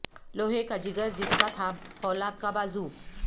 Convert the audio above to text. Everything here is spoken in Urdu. لوہے کا جگر جس کا تھا فولاد کا بازو